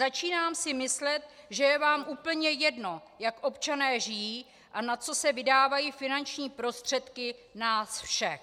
Začínám si myslet, že je vám úplně jedno, jak občané žijí a na co se vydávají finanční prostředky nás všech.